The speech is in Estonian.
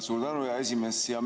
Suur tänu, hea esimees!